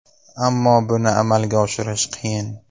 Ammo buni amalga oshirish qiyin.